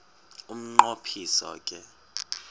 umnqo phiso ke